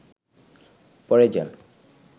পড়ে যান